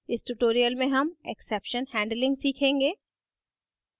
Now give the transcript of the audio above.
इस ट्यूटोरियल में हम exception handling सीखेंगे